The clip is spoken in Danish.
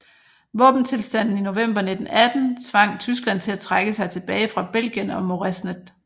Våbentilstanden i november 1918 tvang Tyskland til at trække sig tilbage fra Belgien og Moresnet